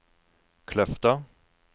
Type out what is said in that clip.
Kløfta